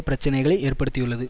பிரச்சனைகள் ஏற்படுத்தியுள்ளது